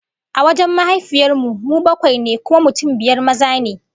A wajen mahaifiyar mu, mu bakwai ne, kuma mutum biyar maza ne